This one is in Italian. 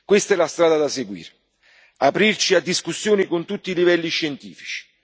Questa è la strada da seguire aprirci a discussioni a tutti i livelli scientifici.